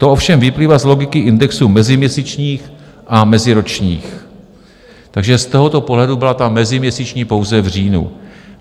To ovšem vyplývá z logiky indexu meziměsíčních a meziročních, takže z tohoto pohledu byla ta meziměsíční pouze v říjnu.